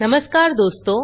नमस्कार दोस्तों